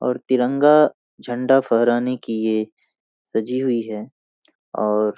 और तिरंगा झंडा फहराने की ये सजी हुई हैं और --